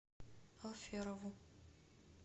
алферову